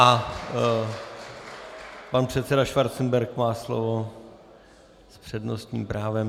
A pan předseda Schwarzenberg má slovo s přednostním právem.